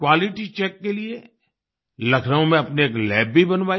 quality check के लिए लखनऊ में अपनी एक लैब भी बनवाई